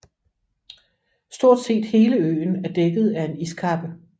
Stort set hele øen er dækket af en iskappe